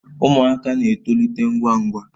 Ụmụaka na-etolite ngwa ngwa